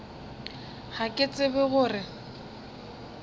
ga ke tsebe go re